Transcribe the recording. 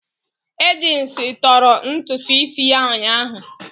Agnes tọọrọ ntutu isi ya ụnyaahụ.